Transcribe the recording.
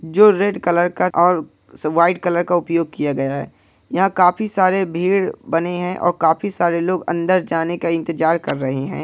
जो red colour का और व्हाइट कलर का उपयोग किया गया है यहां काफी सारे भीड़ बने है और काफ़ी सारे लोग अंदर जाने का इंतज़ार कर रहे हैं।